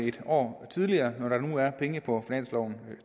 et år tidligere når der nu er penge